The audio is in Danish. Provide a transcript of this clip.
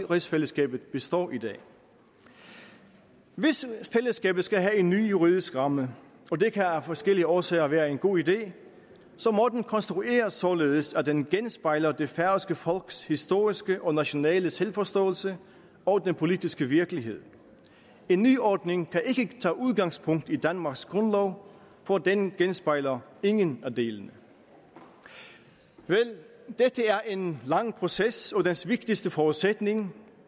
rigsfællesskabet består i dag hvis fællesskabet skal have en ny juridisk ramme og det kan af forskellige årsager være en god idé må den konstrueres således at den genspejler det færøske folks historiske og nationale selvforståelse og den politiske virkelighed en nyordning kan ikke tage udgangspunkt i danmarks grundlov for den genspejler ingen af delene vel dette er en lang proces og dens vigtigste forudsætning